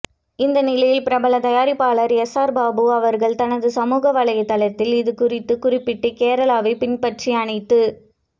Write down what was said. இந்த நிலையில் பிரபல தயாரிப்பாளர் எஸ்ஆர் பிரபு அவர்கள் தனது சமூக வலைத்தளத்தில் இதுகுறித்து குறிப்பிட்டு கேரளாவை பின்பற்றி அனைத்து